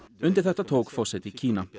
undir þetta tók forseti Kína